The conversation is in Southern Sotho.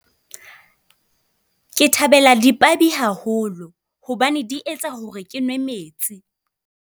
Ke thabela dipabi haholo hobane di etsa hore ke nwe metsi.